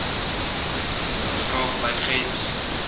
graag by gems